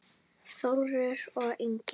Þórður og Ingunn.